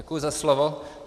Děkuji za slovo.